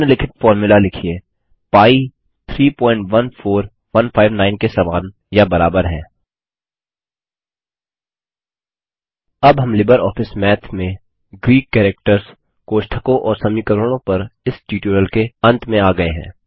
निम्नलिखित फ़ॉर्मूला लिखिए पी 314159 के समान या बराबर है अब हम लिबर ऑफिस माथ में ग्रीक कैरेक्टर्स कोष्ठकों और समीकरणों पर इस ट्यूटोरियल के अंत में आ गये हैं